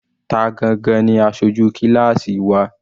Ta gangan ni aṣojú kíláásì wa?